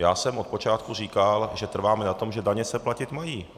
Já jsem od počátku říkal, že trváme na tom, že daně se platit mají.